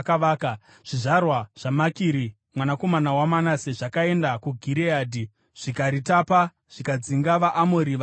Zvizvarwa zvaMakiri mwanakomana waManase zvakaenda kuGireadhi, zvikaritapa zvikadzinga vaAmori vakanga varimo.